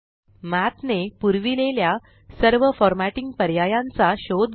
मठ ने पुरविलेल्या सर्व फॉर मॅटिंग पर्यायांचा शोध घ्या